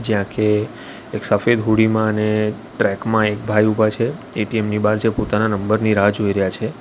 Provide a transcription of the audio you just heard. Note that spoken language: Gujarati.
જ્યા કે એક સફેદ હુળી માં અને ટ્રેક માં એક ભાઈ ઊભા છે એ_ટી_એમ ની બહાર જે પોતાના નંબરની રાહ જોઈ રહ્યા છે.